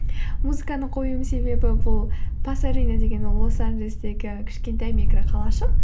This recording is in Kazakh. музыканы қоюымның себебі бұл пасадена деген ол лос анджелестегі кішкентай микроқалашық